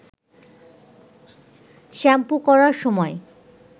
shampoo করার সময়